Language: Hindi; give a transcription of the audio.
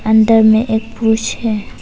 अंदर में एक पुरुष है।